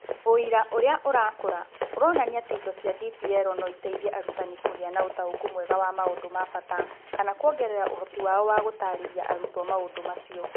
Ũira ũrĩa ũrakũra ũronania atĩ indo cia DPL no iteithie arutani kũgĩa na ũtaũku mwega wa maũndũ ma bata, kana kũongerera ũhoti wao wa gũtaarĩria arutwo maũndũ macio.